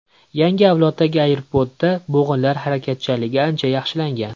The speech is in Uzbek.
Yangi avloddagi Aibo‘da bo‘g‘inlar harakatchanligi ancha yaxshilangan.